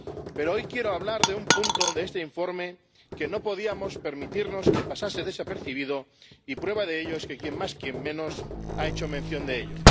Pero hoy quiero hablar de un punto de este informe que no podíamos permitirnos que pasase desapercibido y, prueba de ello, es que quien más quien menos ha hecho mención de ello.